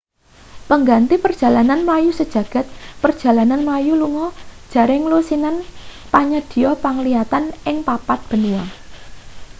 pengganti perjalanan mlayu sajagad perjalanan mlayu lunga jaringan lusinan panyadhiya penglihatan ing papat benua